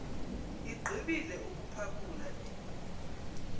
igqibile ukuphakula le